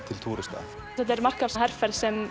til túrista þetta er markaðsherferð sem